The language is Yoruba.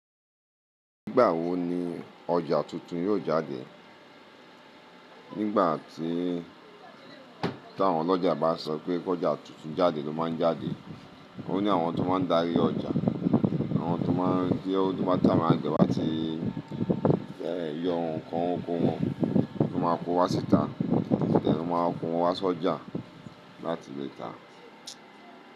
Nígbà wo ni ọjà tuntun yóò jáde? Nígbà tí táwọn ọlọ́jà bá sọ pé kọjá tuntun jáde ló máa ń jáde. Ó ní àwọn tó máa ń darí ọjà, àwọn tó máa ń kí tí àwọn àgbẹ̀ báti bẹ́ẹ̀ yọ ǹkan oko wọn tó máa kó wá síta, bẹ́ẹ̀ ló máa kó wọn wá sójà láti lè ta.